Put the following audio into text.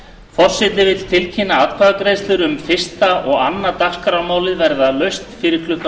forseti vill tilkynna að atkvæðagreiðslur um fyrstu og annað dagskrármálið verða laust fyrir klukkan